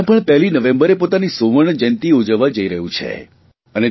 હરિયાણા પણ પહેલી નવેંબરે પોતાની સુવર્ણજયંતિ ઉજવવા જઇ રહ્યું છે